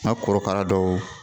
N ka korokara dɔw